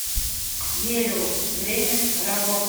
гелиос время работы